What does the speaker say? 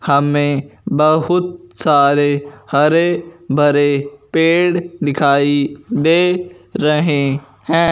हमे बहुत सारे हरे भरे पेड़ दिखाई दे रहें हैं।